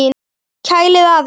Kælið aðeins.